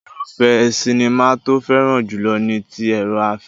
Irúfẹ́ sinimá tó fẹ́ràn jùlọ ni ti èrò-afẹ́.